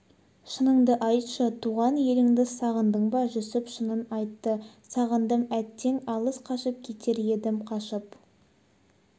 шыныңды айтшы туған еліңді сағындың ба жүсіп шынын айтты сағындым әттең алыс қашып кетер едім қашып